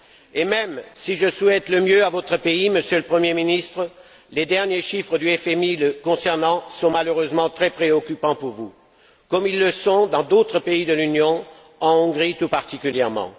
Et même si je souhaite le meilleur à votre pays, Monsieur le Premier ministre, les derniers chiffres du FMI le concernant sont malheureusement très préoccupants pour vous, comme ils le sont dans d'autres pays de l'Union, en Hongrie tout particulièrement.